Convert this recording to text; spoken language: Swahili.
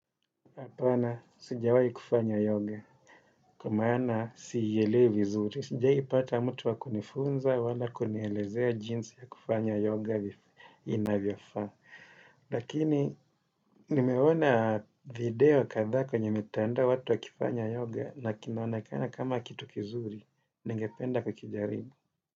Apana, sijawai kufanya yoga, kwa maana sielewi vizuri. Sijawahi pata mtu wa kunifunza wala kunielezea jinsi ya kufanya yoga inavyofaa. Lakini, nimeona video kadha kwenye mitandao watu wakifanya yoga, na kinaonekana kama kitu kizuri, ningependa kukijaribu.